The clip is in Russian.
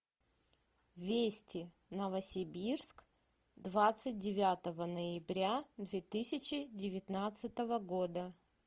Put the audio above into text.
вести новосибирск двадцать девятого ноября две тысячи девятнадцатого года